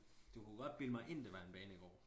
Du kunne godt bilde mig ind det var en banegård